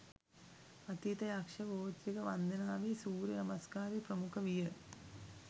අතීත යක්ෂ ගෝත්‍රික වන්දනාවේ සූර්ය නමස්කාරය ප්‍රමුඛ විය